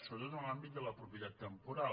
sobretot en l’àmbit de la propietat temporal